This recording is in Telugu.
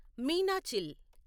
మీనాచిల్